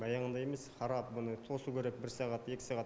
баяғындай емес қарап бұны тосу керек бір сағат екі сағат